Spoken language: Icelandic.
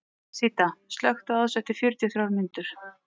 Síta, slökktu á þessu eftir fjörutíu og þrjár mínútur.